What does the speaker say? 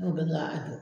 N'o bɛɛ a don